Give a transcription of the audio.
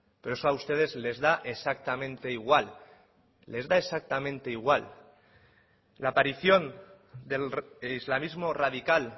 pero eso a ustedes les da exactamente igual les da exactamente igual la aparición del islamismo radical